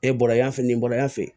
E bɔra yan fɛ yen nin bɔn yan fɛ